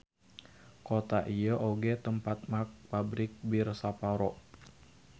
Kota ieu oge tempat merk Pabrik Bir Sapporo.